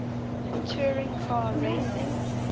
touring car racing